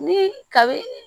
Ni kabi